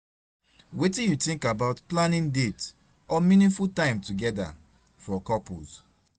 Wetin you think about planning dates or meaningful time together for couples?